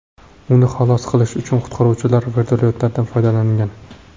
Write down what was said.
Uni xalos qilish uchun qutqaruvchilar vertolyotdan foydalangan.